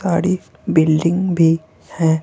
ताड़ी बिल्डिंग भी है।